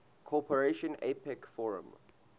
cooperation apec forum